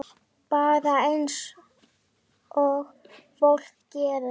Bara eins og fólk gerir.